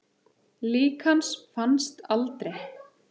Lík hans fannst aldrei.